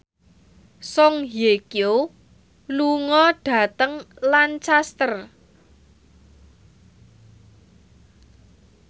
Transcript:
Song Hye Kyo lunga dhateng Lancaster